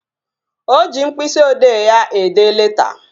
O ji mkpịsị odee ya ede leta